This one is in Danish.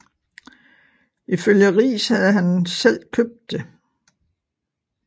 Ifølge Riis havde han selv købt det